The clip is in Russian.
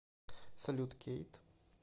салют кейт